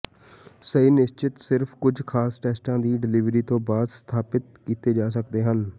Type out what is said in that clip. ਸਹੀ ਨਿਸ਼ਚਤ ਸਿਰਫ ਕੁਝ ਖਾਸ ਟੈਸਟਾਂ ਦੀ ਡਿਲਿਵਰੀ ਤੋਂ ਬਾਅਦ ਸਥਾਪਤ ਕੀਤੇ ਜਾ ਸਕਦੇ ਹਨ